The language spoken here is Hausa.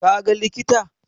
Ka ga likita?